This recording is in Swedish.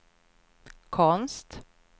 konst